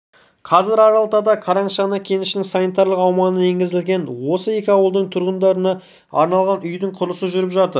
қазір аралталда қарашығанақ кенішінің санитарлық аумағына енгізілген осы екі ауылдың тұрғындарына арналған үйдің құрылысы жүріп жатыр